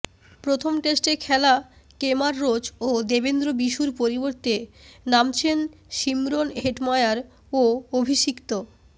প্রথম টেস্টে খেলা কেমার রোচ ও দেবেন্দ্র বিশুর পরিবর্তে নামছেন শিমরন হেটমায়ার ও অভিষিক্ত